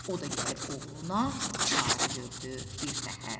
O da gəlib oğluna çarə gördü birtəhər.